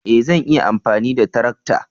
E! Zan iya amfani da tarakta.